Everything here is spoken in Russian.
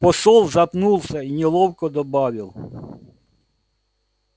посол запнулся и неловко добавил